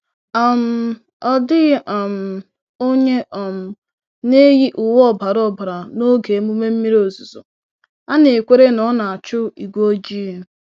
um Ọ dịghị um onye um na-eyi uwe ọbara ọbara n'oge emume mmiri ozuzo—a na-ekwere na ọ na-achụ igwe ojii.